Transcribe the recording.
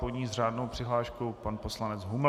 Po ní s řádnou přihláškou pan poslanec Huml.